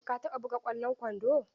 Ka taɓa buga ƙwallon kwando?